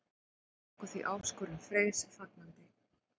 Við tókum því áskorun Freys fagnandi.